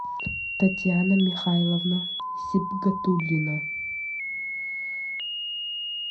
татьяна михайловна сибгатулина